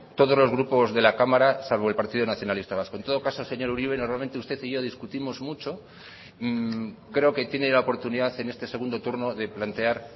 todos los grupos de la cámara salvo el partido nacionalista vasco en todo caso señor uribe normalmente usted y yo discutimos mucho creo que tiene la oportunidad en este segundo turno de plantear